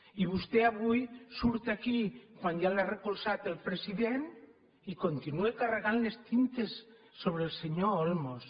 i vostè avui surt aquí quan ja l’ha recolzat el president i continua carregant les tintes sobre el senyor olmos